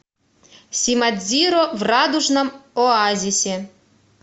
симадзиро в радужном оазисе